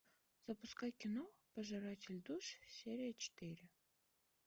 запускай кино пожиратель душ серия четыре